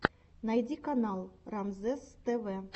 найди канал рамзесств